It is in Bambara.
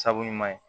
Sabu ɲuman ye